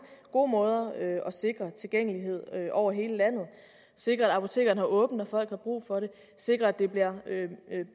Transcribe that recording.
gode måder at sikre tilgængelighed over hele landet sikre at apotekerne har åbent når folk har brug for det sikre at det bliver